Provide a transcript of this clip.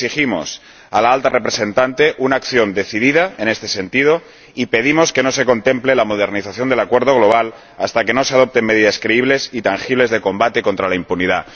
Exigimos a la Alta Representante una acción decidida en este sentido, y pedimos que no se contemple la modernización del Acuerdo global hasta que no se adopten medidas creíbles y tangibles de lucha contra la impunidad.